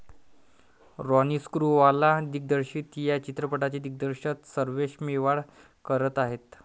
रोनी स्क्रूवाला दिग्दर्शित या चित्रपटाचे दिग्दर्शन सर्वेश मेवाड करत आहे.